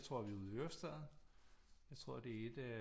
Jeg tror vi er ude i Ørestaden jeg tror det er et af